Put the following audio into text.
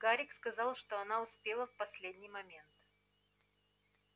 гарик сказал что она успела в последний момент